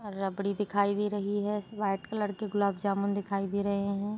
और रबड़ी दिखाई दे रही है वाइट कलर की गुलाब जामुन दिखाई दे रहे है।